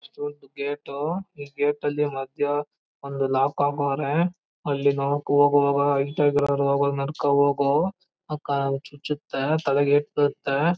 ಇದು ಒಂದ್ ಗೇಟ್ ಈ ಗೇಟ್ ಅಲ್ಲಿ ಮದ್ಯ ಒಂದು ಲಾಕ್ ಹಾಕವ್ರೆ. ಅಲ್ಲಿ ಹೋಗೋವಾಗ ಹೈಟ್ ಆಗಿರವರು ಹೋಗೋವಾಗ ನೋಡ್ಕೊಂಡ್ ಹೋಗೋ ಕಾಲಲಿ ಚುಚ್ಚುತ್ತೆ ತಲೆಗೆ ಏಟ್ ಬೀಳುತ್ತೆ.